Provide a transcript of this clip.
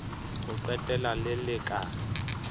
ho qetela le le ka